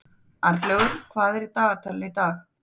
Arnlaugur, hvað er á dagatalinu í dag?